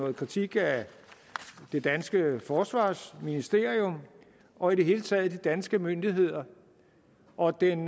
en kritik af det danske forsvarsministerium og i det hele taget af de danske myndigheder og den